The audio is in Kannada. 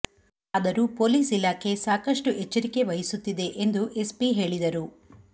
ಆದರೂ ಪೊಲೀಸ್ ಇಲಾಖೆ ಸಾಕಷ್ಟು ಎಚ್ಚರಿಕೆ ವಹಿಸುತ್ತಿದೆ ಎಂದು ಎಸ್ಪಿ ಹೇಳಿದರು